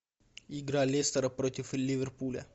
игра лестера против ливерпуля